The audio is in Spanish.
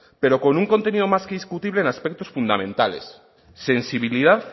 pero con un contenido más que discutible en aspectos fundamentales sensibilidad